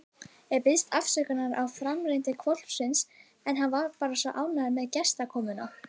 Ég biðst afsökunar á framferði hvolpsins en hann er bara svona ánægður með gestakomuna.